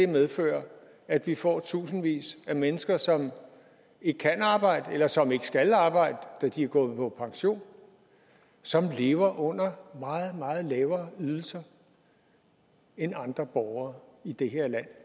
medfører at vi får tusindvis af mennesker som ikke kan arbejde eller som ikke skal arbejde da de er gået på pension og som lever under meget meget lavere ydelser end andre borgere i det her land